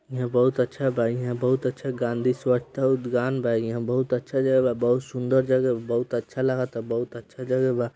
यह बोहत अच्छा हें बोहत अच्छा गाँधी स्वच्छ उद्यान बा यहा बोहत अच्छा रही बा बोहत सुंदर जगाह बोहत अच्छा लगता बोहत अच्छा जगह बा।